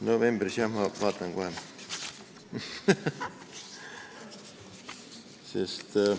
Novembris jah, ma vaatan kohe.